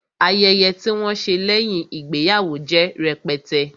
Ayẹyẹ tí wọn ṣe lẹ́yìn ìgbéyàwó jẹ́ rẹpẹtẹ